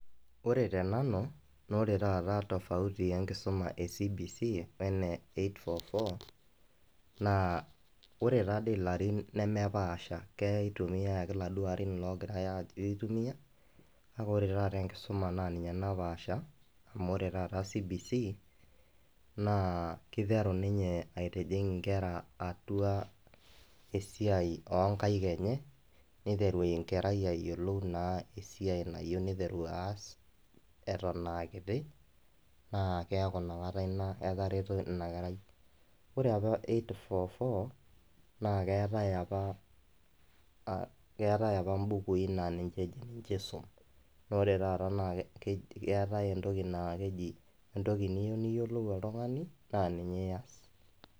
Wore te nanu, naa wore taata tofauti enkisuma e CBC wene eight four four, naa wore taadi ilarin lemepaasha, kei tumiyia ake iladuo arin laakirae ajo kitumiyia. Kake wore taata enkisuma naa ninye napaasha, amu wore taata CBC, naa kiteru ninye aitijing inkera atua esiai oonkaik enye, niteru enkerai ayiolou naa esiai nayieu niteru aas, eton aa kiti, naa keeku inakata inia etareto inia kerai. Wore apa eight four four naa keetae apa, keetae apa imbukui naa ninche isum. Naa wore taata naa keetae entoki naa keji, entoki niyieu niyiolou oltungani, naa ninye ias.